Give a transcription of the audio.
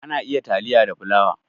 Ana iya taliya da fulawa.